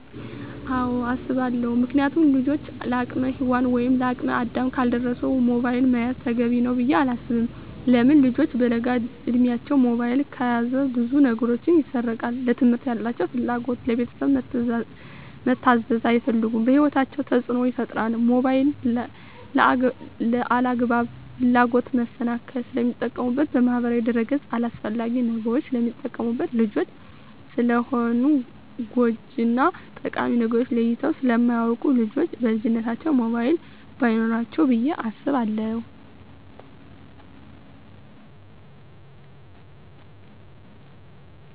አወ አሰባለው ምክንያቱም ልጆች ለአቅመ ሄዋን ወይም ለአቅመ አዳም ካልደረሱ ሞባይል መያዝ ተገቢ ነው ብዬ አላስብም። ለምን ልጆች በለጋ እድማቸው ሞባይል ከያዙ ብዙ ነገራቸው ይሰረቃል ለትምህርት ያላቸው ፍላጎት, ለቤተሰብ መታዘዝ አይፈልጉም በህይወታቸው ተፅዕኖ ይፈጥራል ሞባይልን ለአላግባብ ፍላጎት መሰናክል ስለሚጠቀሙበት በማህበራዊ ድረ-ገፅ አላስፈላጊ ነገሮች ስለሚጠቀሙበት። ልጆች ስለሆኑ ጎጅ እና ጠቃሚ ነገርን ለይተው ስለማያወቁ ልጆች በልጅነታቸው ሞባይል በይኖራቸው ብዬ አስባለሁ።